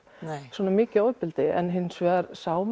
svona mikið ofbeldi en maður sá